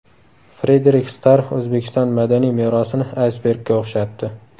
Frederik Starr O‘zbekiston madaniy merosini aysbergga o‘xshatdi.